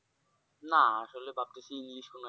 না আসলে ভাবতাছি english কোনো একটি